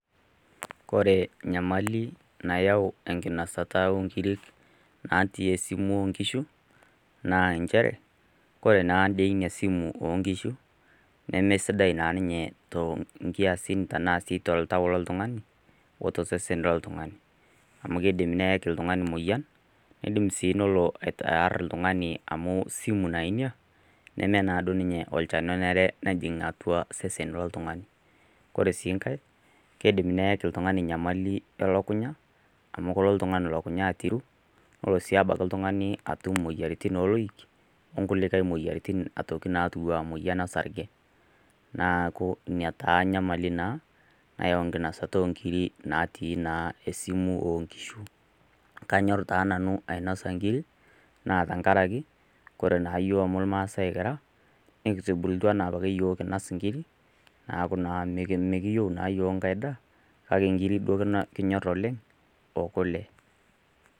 Ore enyamali naayau enkinosata oonkiri natii esimu oo nkishu , naa nchere, ore naadei ina simu oo nkishu nemeesidai naa ninye tonkiasin tanaa sii toltau loltung'ani, o tosesen loltung'ani. Amu keidim neaki oltung'ani emoyian, neidim sii nelo aar oltung'ani amu osumu naa ina, neme naa duo ninye olchani onare nejing'aa atua osesen loltung'ani. Kore sii enkai, keidim neaki sii oltung'ani enyamali elukunya, amu kelo oltung'ani elukunya aatiru, nelo sii oltung'ani abaiki imoyiaritin oo loik, o kulie moyyiaritin natiu anaa emoyian osarge. Neaku ina taa enyamali taa nayau enyamali tenkinosata naa onkiri naatii naa osimu oo nkishu. Kanyor taa nanu aainosa inkiri, naa tenkaraki, ore naa iyiok amu ilmaasai kira, nekitubulutua naake opa iyiok kinos inkiri, neaku naa mekiyou iyiok enkai daa, kake inkiri naake kinyor iyiook, o kule.